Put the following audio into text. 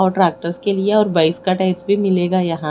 और ट्रेक्टस के लिया और बाईस का टेग्स भी मिलेगा यहाँ--